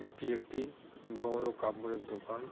এইটি একটি বড়ো কাপড় এর দোকান।